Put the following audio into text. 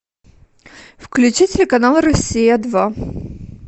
включи телеканал россия два